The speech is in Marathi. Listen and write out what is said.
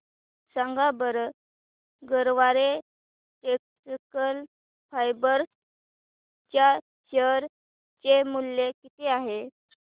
सांगा बरं गरवारे टेक्निकल फायबर्स च्या शेअर चे मूल्य किती आहे